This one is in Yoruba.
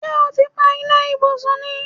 Ṣé́ o ti pa iná ibùsùn ni?